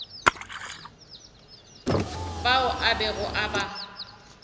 bao a bego a ba